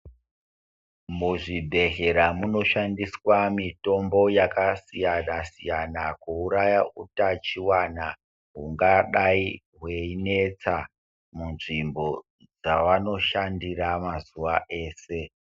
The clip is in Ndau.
Muzvibhedhlera munoshandiswa mitombo yakasiyana- siyana kuuraya hutachiwana hungadai hweinetsa munzvimbo dzavanoshandira mazuva ese